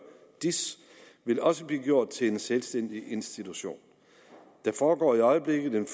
diis vil også blive gjort til en selvstændig institution der foregår i øjeblikket en